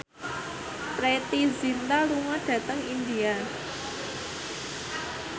Preity Zinta lunga dhateng India